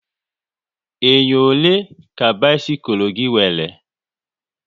Enyo ole ka bisikul gị nwere?